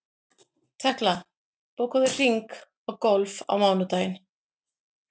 Tekla, bókaðu hring í golf á mánudaginn.